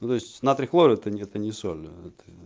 ну то есть натрий хлор это не это не соль это